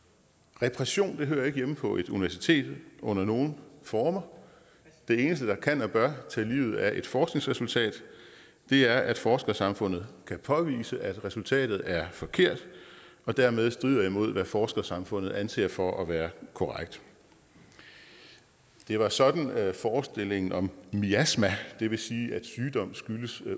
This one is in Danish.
repression hører ikke hjemme på et universitet under nogen former det eneste der kan og bør tage livet af et forskningsresultat er at forskersamfundet kan påvise at resultatet er forkert og dermed strider imod hvad forskersamfundet anser for at være korrekt det var sådan at forestillingen om miasmer det vil sige at sygdom skyldes